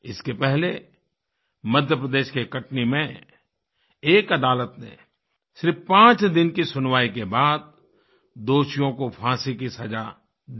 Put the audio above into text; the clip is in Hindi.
इसके पहले मध्य प्रदेश के कटनी में एक अदालत ने सिर्फ़ पाँच दिन की सुनवाई के बाद दोषियों को फाँसी की सज़ा दी